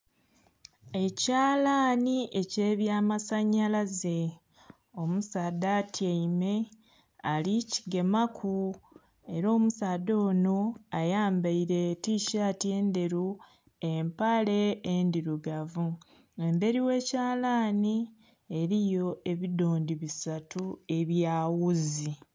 Ekyalanhi ekyebyamasanyalaze omusaadha atyaime alikigemaku era omusaadha ono ayambaire etishati endheru, empale endhirugavu. Emberi ghe kyalanhi eriyo ebidhondhi bisatu ebya wuzi.